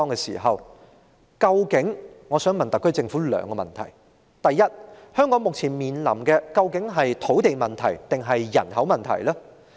就此，我想問特區政府兩個問題：第一，香港目前面對的究竟是土地問題還是人口問題？